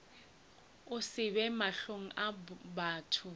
se be mahlong a batho